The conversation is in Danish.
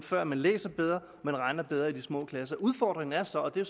før man læser bedre og man regner bedre i de små klasser udfordringen er så og det er